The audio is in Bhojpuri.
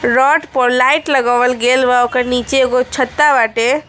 रॉड पर लाइट लगावल गइल बा ओकर नीचे एक गो छत्ता बाटे।